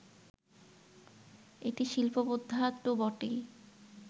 এটি শিল্পবোদ্ধা তো বটেই